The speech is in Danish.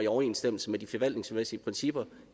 overensstemmelse med de forvaltningsmæssige principper